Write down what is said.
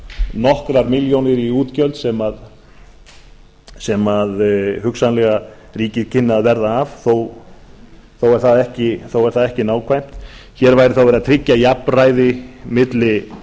nokkrar milljónir í útgjöld sem hugsanlega ríkið kynni að verða af þó er það ekki nákvæmt hér væri þá verið að tryggja jafnræði á milli